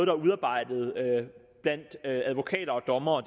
er udarbejdet blandt advokater og dommere